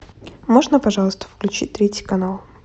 можно пожалуйста включить третий канал